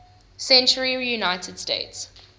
century united states